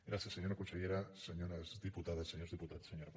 gràcies senyora consellera senyores diputades senyors diputats senyora presidenta